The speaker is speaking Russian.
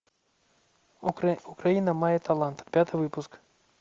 украина мае талант пятый выпуск